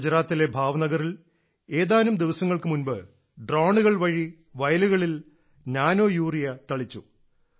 ഗുജറാത്തിലെ ഭാവ്നഗറിൽ ഏതാനും ദിവസങ്ങൾക്കുമുമ്പ് ഡ്രോണുകൾ വഴി വയലുകളിൽ നാനോയൂറിയ തളിച്ചു